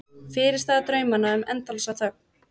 Fyrirstaða draumanna um endalausa þögn.